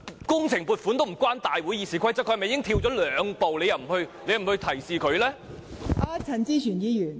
工程撥款與《議事規則》無關，他跳了兩步，你為何不向他作出提示？